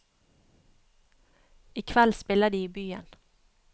I kveld spiller de i byen.